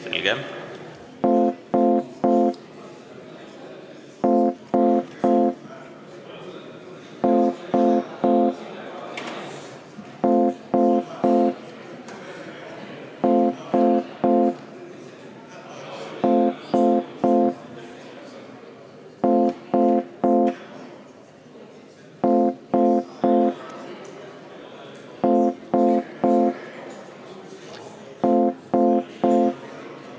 Selge.